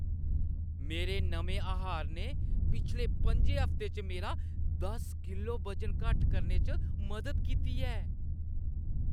मेरे नमें आहार ने पिछले पं'ञे हफ्तें च मेरा दस किलो वजन घट्ट करने च मदद कीती ऐ।